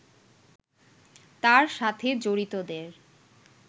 তার সাথে জড়িতদের